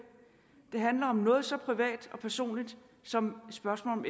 det handler om noget så privat og personligt som spørgsmålet